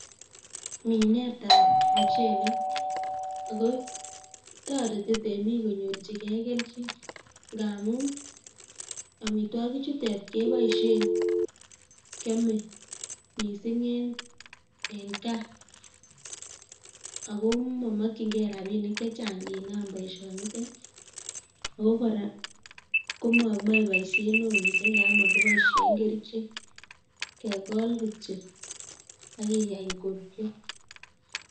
Minet ap muchelek akotoreti temik konyorchigei kelchin ngaamun amitwogik chutek keboisie kyame miising'in eng' gaa ako mamakchingei rabinik chechang' nginam boision nete ako kora komamae boisiet neoo miising' nga makiboisie kerichek, kekool kityo akikany koruryo